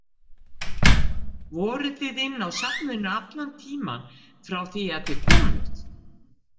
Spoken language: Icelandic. Voruð þið inni á safninu allan tímann frá því að þið komuð?